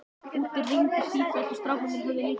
Úti rigndi sífellt og strákarnir höfðu lítið við að vera.